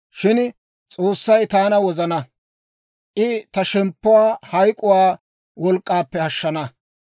Shin S'oossay taana wozana; I ta shemppuwaa hayk'k'uwaa wolk'k'aappe ashshana.